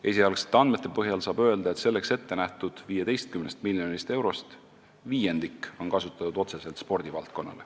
Esialgsete andmete põhjal saab öelda, et selleks ette nähtud 15 miljonist eurost viiendikku on kasutatud otseselt spordivaldkonnas.